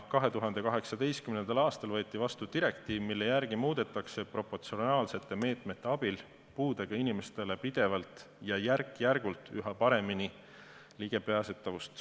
2018. aastal võeti vastu direktiiv, mille järgi muudetakse proportsionaalsete meetmete abil puudega inimeste ligipääsemist pidevalt ja järk-järgult üha paremaks.